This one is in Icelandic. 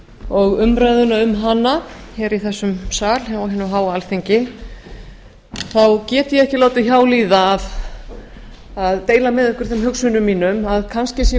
og umræðuna um hana hér í þessum sal á hinu háa alþingi get ég ekki látið hjá líða að deila með ykkur þeim hugsunum mínum að kannski sé